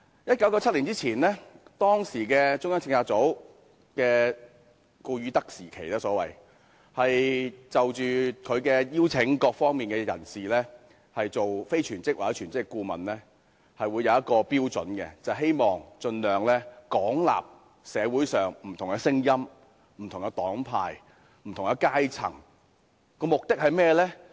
1997年前是中策組的所謂"顧汝德時期"，中策組邀請各方人士擔任全職或非全職顧問時，是有一項標準的，就是希望盡量廣納社會上的不同聲音、不同黨派及不同階層，目的是甚麼？